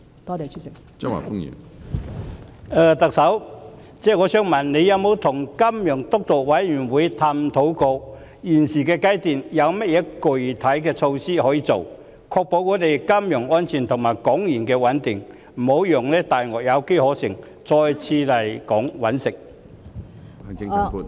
特首，我想問你有否與"金融督導委員會"探討過，現階段可以落實甚麼具體措施，以確保金融安全和港元穩定，不致讓"大鱷"有機可乘，再次來港"覓食"？